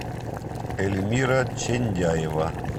эльмира чиндяева